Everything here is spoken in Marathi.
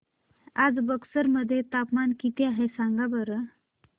आज बक्सर मध्ये तापमान किती आहे सांगा बरं